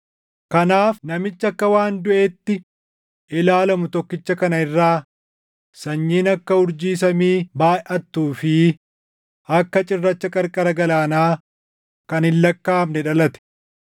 Kanaaf namicha akka waan duʼeetti ilaalamu tokkicha kana irraa sanyiin akka urjii samii baayʼattuu fi akka cirracha qarqara galaanaa kan hin lakkaaʼamne dhalate.